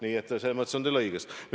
Selles mõttes on teil õigus.